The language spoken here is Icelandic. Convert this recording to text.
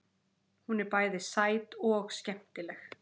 Hún er bæði sæt og skemmtileg.